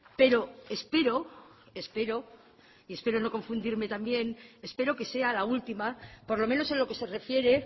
pero espero espero y espero no confundirme también espero que sea la última por lo menos en lo que se refiere